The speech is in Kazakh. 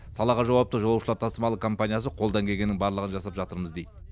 салаға жауапты жолаушылар тасымалы компаниясы қолдан келгеннің барлығын жасап жатырмыз дейді